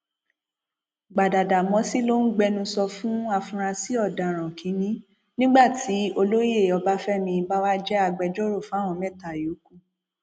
gbadádámósì ló ń gbẹnusọ fún afurasí ọdaràn kìnínní nígbà tí olóyè ọbáfẹmi báwá jẹ agbẹjọrò fáwọn mẹta yòókù